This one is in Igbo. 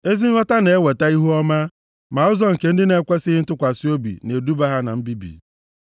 Ezi nghọta na-eweta ihuọma, ma ụzọ nke ndị na-ekwesighị ntụkwasị obi na-eduba ha na mbibi.